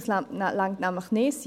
Dies reicht nämlich nicht.